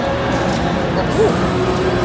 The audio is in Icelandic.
Ert þetta þú?